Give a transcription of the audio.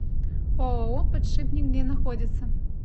ооо подшипник где находится